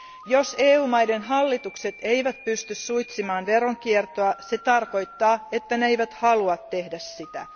Jos EU maiden hallitukset eivät pysty suitsimaan veronkiertoa, se tarkoittaa, että ne eivät halua tehdä sitä.